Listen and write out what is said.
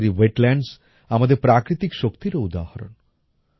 ভারতের এই ওয়েটল্যান্ডস আমাদের প্রাকৃতিক শক্তিরও উদাহরণ